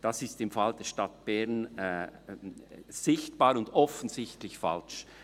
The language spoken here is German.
Das ist im Falle der Stadt Bern sichtbar und offensichtlich falsch.